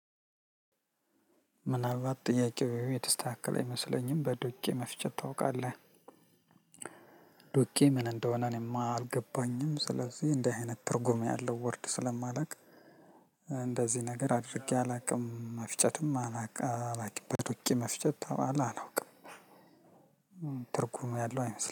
ምናልባት ጥያቄው የተስተካከለ አይመስለኝም። በዶቄ መፍጨት ታውቃለህ? ዶቄ ምን እንደሆነ እኔም አልገባኝም። ስለዚህ እንደ አይነት ትርጉም ያለው ወርድ ስለማላውቅ- እንደዚህ ነገር አድርጌ አላውቅም። መፍጨትም አላውቅም። በዶቄ መፍጨት ተባለ አላውቅም። ትርጉም ያለው አይመስለኝም።